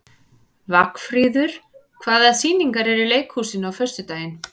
Vagnfríður, hvaða sýningar eru í leikhúsinu á föstudaginn?